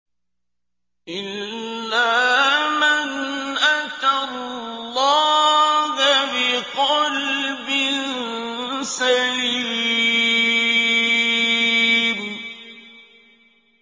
إِلَّا مَنْ أَتَى اللَّهَ بِقَلْبٍ سَلِيمٍ